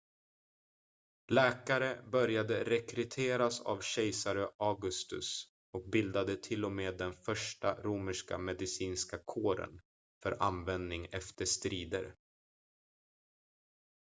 läkare började rekryteras av kejsare augustus och bildade till och med den första romerska medicinska kåren för användning efter strider